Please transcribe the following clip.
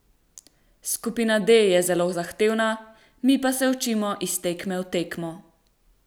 Skupina D je zelo zahtevna, mi pa se učimo iz tekme v tekmo.